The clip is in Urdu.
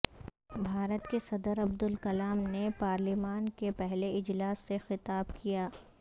بھارت کے صدر عبدالکلام نے پارلیمان کے پہلے اجلاس سے خطاب کیا